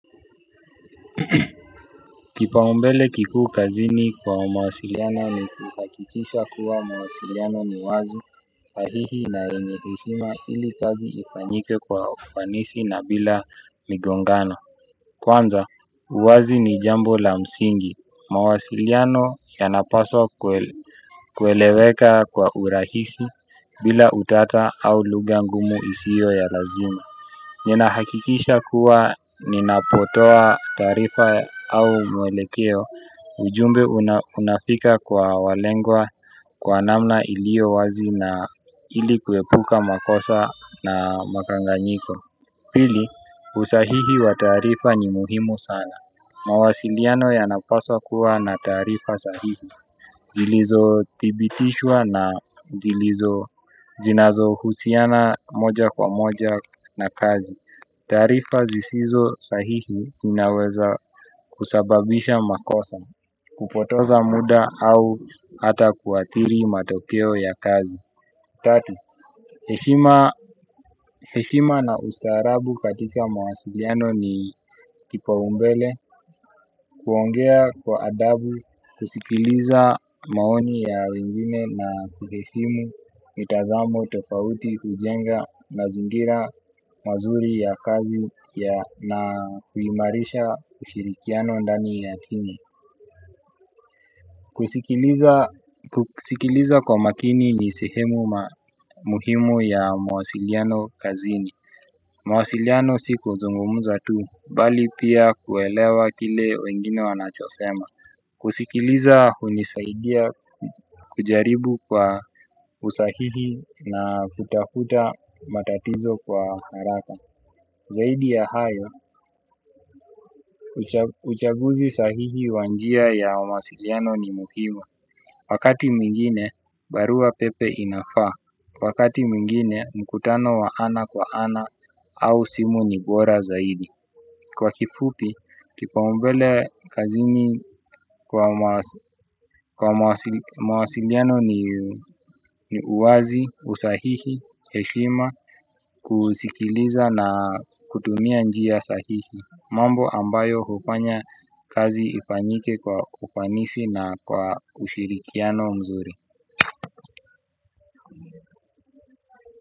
Kipa umbele kikuu kazini kwa mawasiliano ni kuhakikisha kuwa mawasiliano ni wazi sahihi na yenye heshima ili kazi ifanyike kwa ufanisi na bila migongano. Kwanza, uwazi ni jambo la msingi. Mawasiliano yanapaswa kweleweka kwa urahisi bila utata au lugha ngumu isio ya lazima. Nina hakikisha kuwa ninapotoa tarifa au mwelekeo ujumbe unafika kwa walengwa kwa namna ilio wazi na ilikuepuka makosa na makanganyiko. Pili usahihi wa taarifa ni muhimu sana. Mawasiliano yanapaswa kuwa na taarifa sahihi zilizo tibitishwa na zilizo zinazo husiana moja kwa moja na kazi. Tarifa zisizo sahihi sinaweza kusababisha makosa. Kupoteza muda au hata kuathiri matokeo ya kazi. Tatu heshima na ustarabu katika mawasiliano nikipa umbele. Kuongea kwa adabu, kusikiliza maoni ya wengine na kukifimu, mitazamu, topauti, kujenga na zingira mazuri ya kazi na kuhimarisha ushirikiano ndani ya kini. Kusikiliza kwa makini ni sehemu muhimu ya mwasiliano kazini. Mwasiliano si kuzungumza tu, bali pia kuelewa kile wengine wanachosema. Kusikiliza hunisaidia kujaribu kwa usahihi na kutahuta matatizo kwa haraka. Zaidi ya hayo, uchaguzi sahihi wa njia ya masiliano ni muhimu. Wakati mingine, barua pepe inafaa. Wakati mwingine, mkutano wa ana kwa ana au simu ni bora zaidi. Kwa kifupi, kipaumbele kazini kwa mawasiliano ni uwazi, usahihi, heshima, kusikiliza na kutumia njia sahihi. Mambo ambayo kufanya kazi ifanyike kwa kufanishi na kwa ushirikiano mzuri.